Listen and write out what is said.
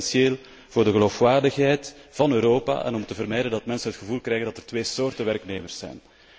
Dat is essentieel voor de geloofwaardigheid van Europa en om te vermijden dat mensen het gevoel krijgen dat er twee soorten werknemers zijn.